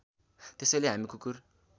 त्यसैले हामी कुकुर